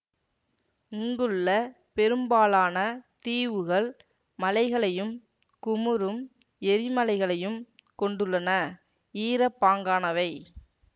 இங்குள்ள பெரும்பாலான தீவுகள் மலைகளையும் குமுறும் எரிமலைகளையும் கொண்டுள்ளன ஈரப்பாங்கானவை